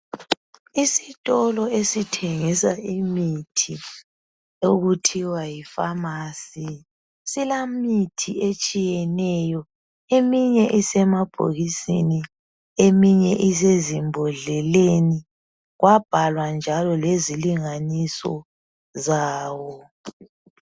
Isitolo esithengisa imithi okuthiwa yifamasi, silemithi etshiyeneyo eminye isemabhokisini eminye isezimbodleleni kwabhalwa njalo lezilinganiso zawo.